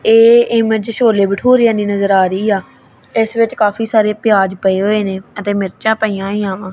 ਏਹ ਇਮੇਜ ਛੋਲੇ ਭਤੁਰੇਆਂ ਦੀ ਨਜ਼ਰ ਆ ਰਹੀ ਆ ਇਸ ਵਿੱਚ ਕਾਫੀ ਸਾਰੇ ਪਿਆਜ ਪਏ ਹੋਏ ਨੇਂ ਅਤੇ ਮਿਰਚਾਂ ਪਈਆਂ ਹੋਈਆਂ ਵਾਂ।